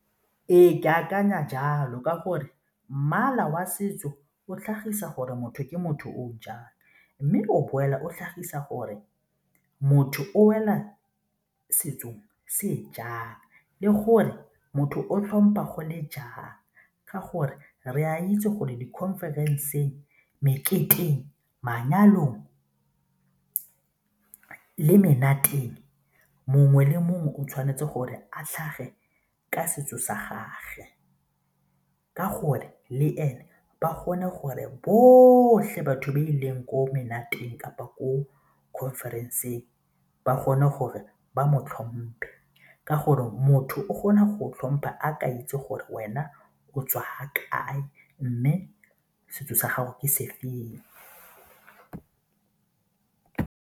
Ee, ke akanya jalo ka gore mmala wa setso o tlhagisa gore motho ke motho o jang mme o boela o tlhagisa gore motho o wela setsong se jang le gore motho o tlhompa gole jang ka gore re a itse gore di-conference, meketeng, manyalo le menateng, mongwe le mongwe o tshwanetse gore a tlhage ka setso sa gagwe ka gore le ene ba bone gore botlhe batho ba ileng ko menateng kapa ko conference ba kgone gore ba mo tlhomphe ka gore motho o kgona go tlhompha a ke itse gore wena o tswa ga kae mme setso sa gago ke se feng.